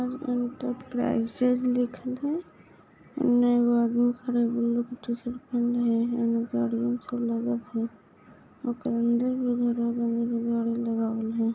enterprises लिखल है